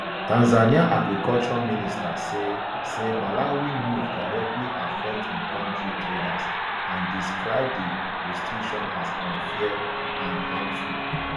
tanzania agriculture minister say say malawi move directly affect im country traders and describe di restrictions as unfair and harmful